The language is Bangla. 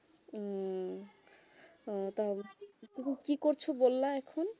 উম তুমি কি করছো বলা এখন